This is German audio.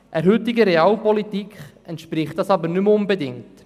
Der heutigen Realpolitik entspricht das aber nicht mehr unbedingt.